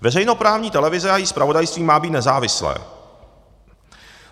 Veřejnoprávní televize a její zpravodajství má být nezávislé.